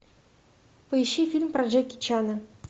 поищи фильм про джеки чана